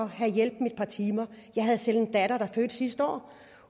have hjælp i et par timer jeg har selv en datter der fødte sidste år